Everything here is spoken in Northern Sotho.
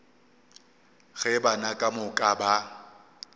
ge bana ka moka ba